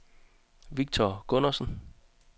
Victor Gundersen